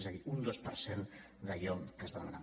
és a dir un dos per cent d’allò que es va demanar